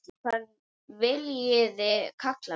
Hvað viljiði kalla mig?